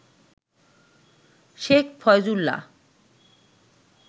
Sheikh Faizullah